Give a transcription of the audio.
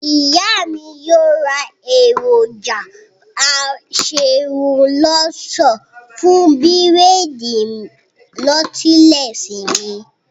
Ìyá mi yóò ra èròjà aserun lọṣọ fún bírèèdì nọ́tílẹ́ẹ̀sì mi